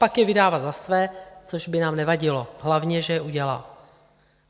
Pak je vydává za své, což by nám nevadilo, hlavně že je udělá.